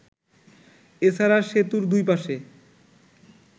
এছাড়া সেতুর দুই পাশে